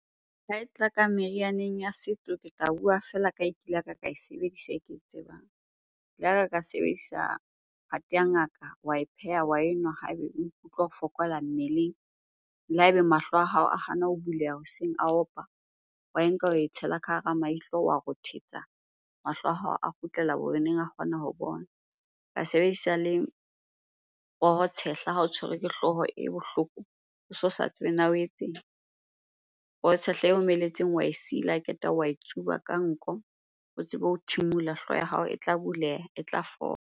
Ha e tla ka merianeng ya setso, ke tla bua feela ka e kile ya ka e sebedisa e ke e tsebang. Ke laka ka sebedisa phate ya ngaka, wa e pheha, wa enwa hae be o ikutlwa o fokola mmeleng. Le hae be mahlo a hao a hana ho buleha hoseng, a opa. Wa e nka, wa e tshela ka hara maihlo, wa rothetsa, mahlo a hao a kgutlela bo oneng a kgona ho bona. Ka sebedisa le poho tshehla ha o tshwerwe ke hlooho e bohloko, o so sa tsebe na o etseng? Poho tshehla e omelletseng wa e sila, ha qeta wa e tsuba ka nko o tsebe ho thimula. Hlooho ya hao e tla buleha, e tla fola.